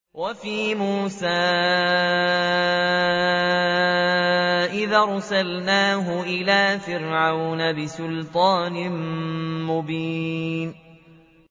وَفِي مُوسَىٰ إِذْ أَرْسَلْنَاهُ إِلَىٰ فِرْعَوْنَ بِسُلْطَانٍ مُّبِينٍ